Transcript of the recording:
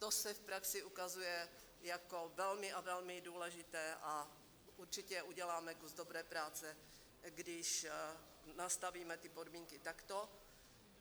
To se v praxi ukazuje jako velmi a velmi důležité a určitě uděláme kus dobré práce, když nastavíme ty podmínky takto.